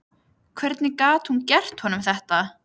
Hvernig gat hún gert honum þetta?